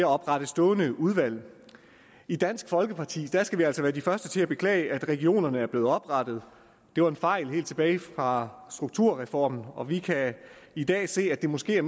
oprette stående udvalg i dansk folkeparti skal vi altså være de første til at beklage at regionerne er blevet oprettet det var en fejl helt tilbage fra strukturreformen og vi kan i dag se at det måske